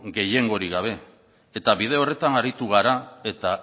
gehiengorik gabe eta bide horretan aritu gara eta